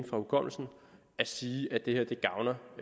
fra hukommelsen at sige at det